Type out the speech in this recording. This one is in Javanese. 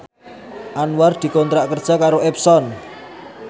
Anwar dikontrak kerja karo Epson